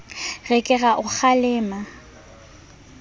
re ke a o kgalema